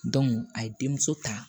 a ye denmuso ta